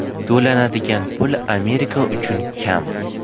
To‘lanadigan pul Amerika uchun kam.